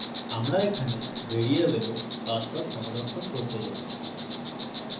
আমরা এখানে ভ্যারিয়েবলে পাসওয়ার্ড সংরক্ষণ করতে যাচ্ছি